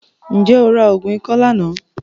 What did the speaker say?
Ǹjẹ́ o ra oògùn ikọ́ lánàá?